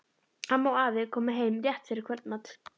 Amma og afi komu heim rétt fyrir kvöldmat.